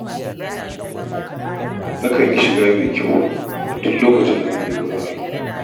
Nakan yi shiga mai kyau a duk lokacin da zan je wurin aiki